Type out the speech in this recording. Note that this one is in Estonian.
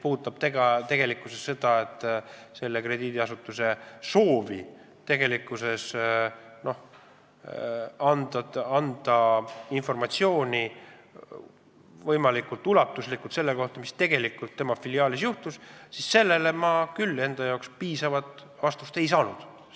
Kui see krediidiasutus soovis anda võimalikult ulatuslikku informatsiooni selle kohta, mis tegelikult tema filiaalis juhtus, siis sellele ma küll piisavat vastust ei saanud.